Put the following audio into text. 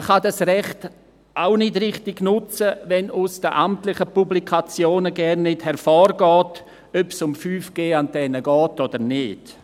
Man kann dieses Recht auch nicht richtig nutzen, wenn aus den amtlichen Publikationen gar nicht hervorgeht, ob es um 5G-Antennen geht oder nicht.